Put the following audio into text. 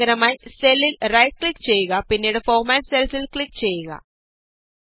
ഇതിന് പകരമായി സെല്ലില് റൈറ്റ് ക്ലിക് ചെയ്യുക പിന്നീട് ഫോര്മാറ്റ് സെല്സ്ല് ക്ലിക് ചെയ്യുക